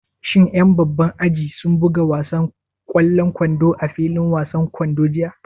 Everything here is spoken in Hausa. Shin ƴan babban aji sun buga wasan ƙwallon kwando a filin wasan kwando jiya?